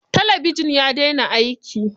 Talabijin ya daina aiki.